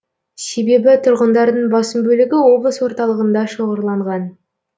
себебі тұрғындардың басым бөлігі облыс орталығында шоғырланған